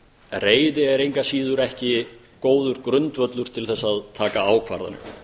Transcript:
reiði er engu að síður ekki góður grundvöllur til að taka ákvarðanir